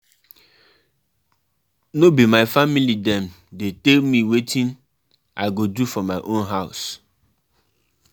My mama tell me um say I go learn how to barb hair um for dis holiday but I wan learn welding